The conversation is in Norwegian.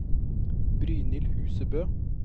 Brynhild Husebø